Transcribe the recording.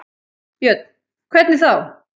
Björn: Hvernig þá?